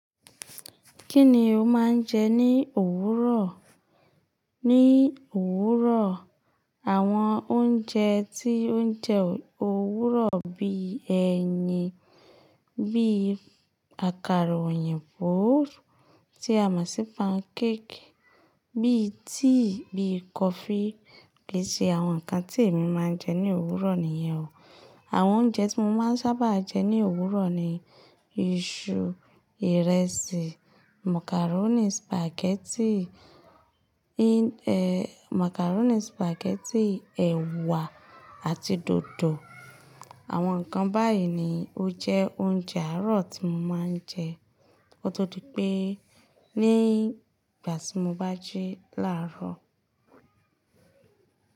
Kí ni o máa ń jẹ ní òwúrọ̀? Ní òwúrọ̀, àwọn oúnjẹ tí ó ń jẹ òwúrọ̀ bí ẹyin, bí àkàrà òyìnbó tí a mọ̀ sí pancake, bí tea, bí kọfí kì í ṣe àwọn nǹkan tí èmi máa ń jẹ ní òwúrọ̀ nìyẹn o. Àwọn oúnjẹ tí mo máa ń sábà jẹ ní òwúrọ̀ ni iṣu, ìrẹsì, màkàrónì, sìpàgẹ́tì, màkàrónì, sìpàgẹ́tì, ẹ̀wà àti dòdò. Àwọn nǹkan báyìí ni ó jẹ́ oúnjẹ àárọ̀ tí mo máa ń jẹ, ó tó di pé ní ìgbà tí mo bá jí làárọ̀.